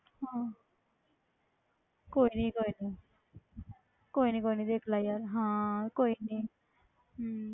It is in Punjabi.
ਹਾਂ ਕੋਈ ਨੀ ਕੋਈ ਨੀ ਕੋਈ ਨੀ ਕੋਈ ਨੀ ਦੇਖ ਲਾ ਯਾਰ, ਹਾਂ ਕੋਈ ਨੀ ਹਮ